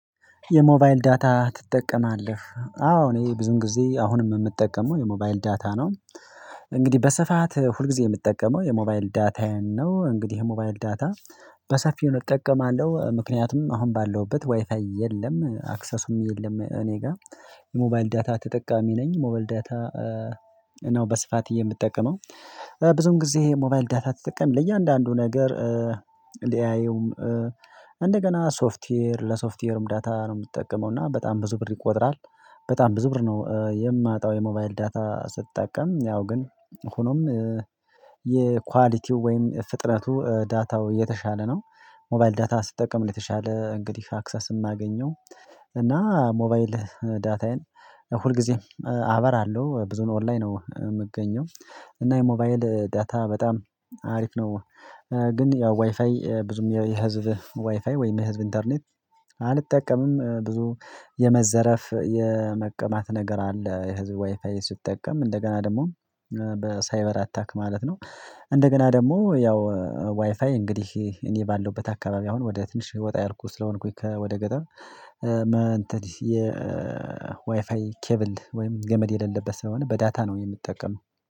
የሞባይል ዳታ ትጠቀማለህ አዎ እኔ ብዙን ጊዜ አሁንም የምጠቀመው የሞባይል ዳታ ነው። እንግዲህ በሰፋት ሁልጊዜ የምጠቀመው የሞባይል ዳታውያን ነው እንግዲህ የሞባይል ዳታ በሰፊው እጠቀማለሁ ምክንያቱም አሁን ባለሁበት ዋይፋይ የለም አክሰስም የለም። እኔ ጋር የሞባይል ዳታ ተጠቃሚ ነኝ ሞባይል ዳታ ነው በስፋት የምጠቀመው። ብዙም ጊዜ ሞባይል ዳታ ተጠቃሚ ለእያንዳንዱ ነገር። ሊያየውም እንደገና ሶፍትዌር ለሶፍትዌርም ዳታ ነው የምትጠቀመው እና በጣም ብዙ ብር ይቆጥራል። በጣም ብዙ ብር ነው የማጣው የሞባይል ዳታ ስትጠቀም ያው ግን። ሆኖም የኳሊቲው ወይም ፍጥነቱ ዳታው የተሻለ ነው። ሞባይል ዳታ ስትጠቀም ለተሻለ እንግዲህ አክሰስ የማገኘው። እና ሞባይል ዳታዬን ሁልጊዜም አበራለሁ ብዙ ኦንላይ ነው የምገኘው። እና የሞባይል ዳታ በጣም አሪፍ ነው። ግን ያው ዋይፋይ ብዙም የህዝብ ዋይፋይ ወይም የህዝብ ኢንተርኔት አልጠቀምም። ብዙ የመዘረፍ የመቀማት ነገር አለ የህዝብ ዋይፋይ ስትጠቀም እንደገና ደግሞ በሳይበር አታክ ማለት ነው። እንደገና ደግሞ ያው ዋይፋይ እንግዲህ እኔ ባለውበት አካባቢ አሁን ወደ ትንሽ ወጣ ያልኩት ስለሆንኩኝ ወደ ገጠር የ ዋይፋይ ኬቭል ወይም ገመድ የሌለበት ስለሆነ በዳታ ነው የምጠቀመው።